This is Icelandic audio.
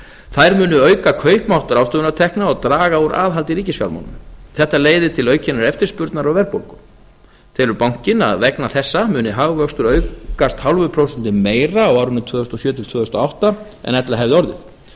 þær munu auka kaupmátt ráðstöfunartekna og draga úr aðhaldi í ríkisfjármálum þetta leiðir til aukinnar eftirspurnar og verðbólgu telur bankinn að vegna þessa muni hagvöxtur aukast hálfu prósenti meira á árunum tvö þúsund og sjö til tvö þúsund og átta en ella hefði orðið afleiðing